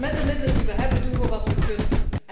Met de middelen die we hebben, doen we wat we kunnen.